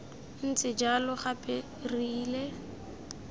ntse jalo gape re ile